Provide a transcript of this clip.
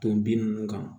Ton nunnu kan